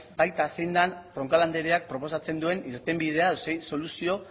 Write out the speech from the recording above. baita zein den roncal andereak proposatzen duen irtenbidea edo zein soluzio